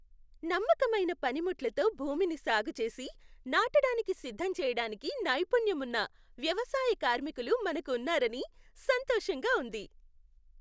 నమ్మకమైన పనిముట్లతో భూమిని సాగు చేసి, నాటడానికి సిద్ధం చేయడానికి నైపుణ్యం ఉన్న వ్యవసాయ కార్మికులు మనకు ఉన్నారని సంతోషంగా ఉంది.